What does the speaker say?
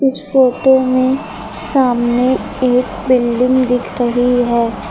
Photo में सामने एक बिल्डिंग दिख रही है।